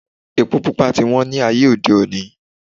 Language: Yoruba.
Epo pupa ti wón ni ayé òde oní